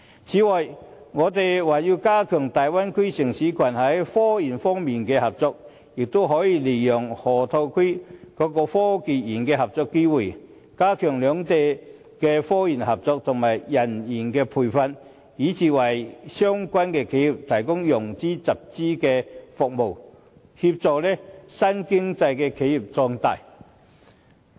此外，我們還可加強與大灣區城市群在科研方面的合作，也可以利用河套區科技園的合作機會，加強兩地科研合作及人員培訓，以至為相關的企業提供融資、集資的服務，協助新經濟的企業壯大。